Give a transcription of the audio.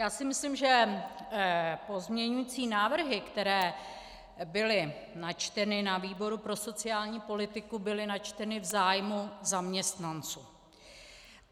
Já si myslím, že pozměňující návrhy, které byly načteny na výboru pro sociální politiku, byly načteny v zájmu zaměstnanců.